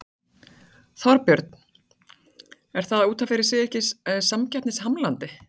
Þorbjörn: Er það út af fyrir sig ekki samkeppnishamlandi?